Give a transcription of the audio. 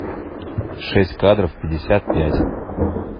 шесть кадров пятьдесят пять